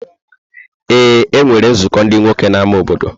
Ee, e nwere nzukọ ndị nwoke n’ámá obodo.